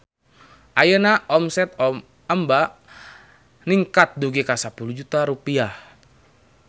Ayeuna omset Emba ningkat dugi ka 10 juta rupiah